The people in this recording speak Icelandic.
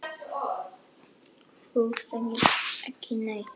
Þú segir ekki neitt.